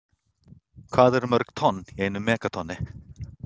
Hvað eru mörg tonn í einu megatonni?